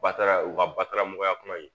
Ba taara u ka baramɔgɔya kuma in